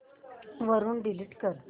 वरून डिलीट कर